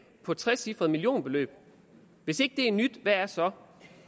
på et trecifret millionbeløb hvis ikke det er nyt hvad er så